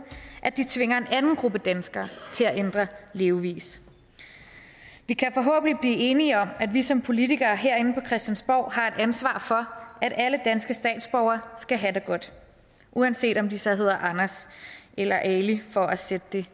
at de tvinger en anden gruppe danskere til at ændre levevis vi kan forhåbentlig blive enige om at vi som politikere herinde på christiansborg har et ansvar for at alle danske statsborgere skal have det godt uanset om de så hedder anders eller ali for at sætte det